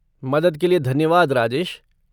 मदद के लिए धन्यवाद राजेश।